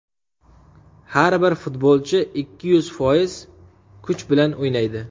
Har bir futbolchi ikki yuz foiz kuch bilan o‘ynaydi.